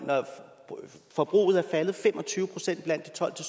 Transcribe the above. forbruget er faldet fem og tyve procent blandt de tolv til